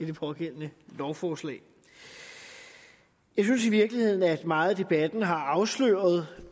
det pågældende lovforslag jeg synes i virkeligheden at meget af debatten har afsløret hvad